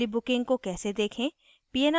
पिछली booking को कैसे देखें